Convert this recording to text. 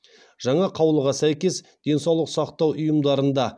жаңа қаулыға сәйкес денсаулық сақтау ұйымдарында